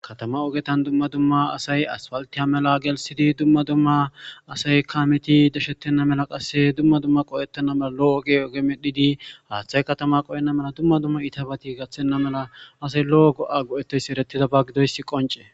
katama ogetan dumma dumma asay aspaltiha mela gelsidi dumma dumma asay kameti deshettenna mela qasse dumma dumma qo7ettenna mala lo7o oge oge medhidi haaththay katama qo7enna mela dumma dumma itabati gaththenna mela asay lo7o go7a go7ettesi eretida ba gidoyssi qonce